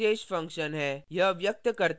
main एक विशेष function function है